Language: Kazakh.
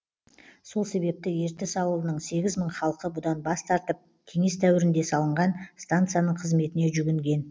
сол себепті ертіс ауылының сегіз мың халқы бұдан бас тартып кеңес дәуірінде салынған станцияның қызметіне жүгінген